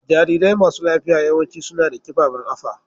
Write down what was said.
Jarirai masu lafiya yawanci suna da kiɓaɓen afa.